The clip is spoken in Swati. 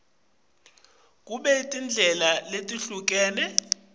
kube netindlela letehlukene